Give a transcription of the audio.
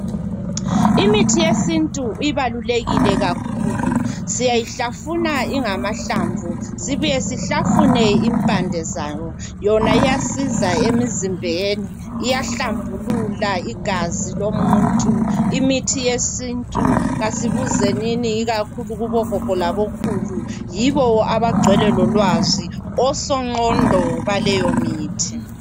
Imithi yesintu ibalulekile kakhulu. Siyayihlafuna ingamahlamvu sibuye sihlafune impande zayo. Yona iyasiza emizimbeni, iyahlambulula igazi lomuntu. Imithi yesintu kasibuzenini ikakhulu kubogogo labokhulu yibo abagcwele lolwazi osonqondo baleyomithi.